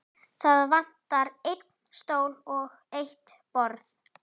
Það vantar einn stól og eitt borð.